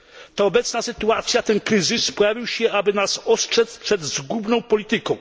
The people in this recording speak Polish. Ta obecna sytuacja, ten kryzys pojawił się, aby nas ostrzec przed zgubną polityką.